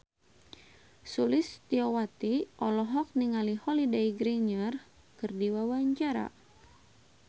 Sulistyowati olohok ningali Holliday Grainger keur diwawancara